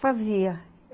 Fazia.